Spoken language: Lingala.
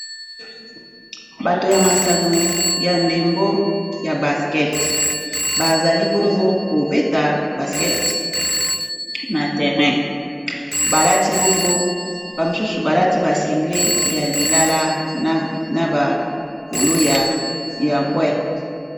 bato ya masano ya ndembo ya basket bazali bongo kobeta baskete na terrain bamosusu balati basengle ya lilala na babolo yambwa